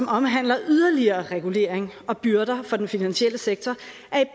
omhandler yderligere regulering og byrder for den finansielle sektor